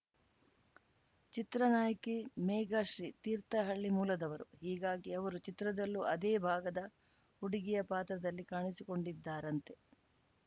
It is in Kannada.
ಚಿತ್ರ ನಾಯಕಿ ಮೇಘಶ್ರೀ ತೀರ್ಥಹಳ್ಳಿ ಮೂಲದವರು ಹೀಗಾಗಿ ಅವರು ಚಿತ್ರದಲ್ಲೂ ಅದೇ ಭಾಗದ ಹುಡುಗಿಯ ಪಾತ್ರದಲ್ಲಿ ಕಾಣಿಸಿಕೊಂಡಿದ್ದಾರಂತೆ